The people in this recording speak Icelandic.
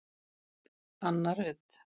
Anna Rut